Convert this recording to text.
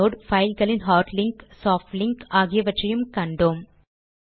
inode பைல்களின் hard link soft link ஆகியவற்றையும் கற்றோம்